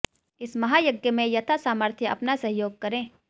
इस महायज्ञ में यथा सामर्थ्य अपना सहयोग करें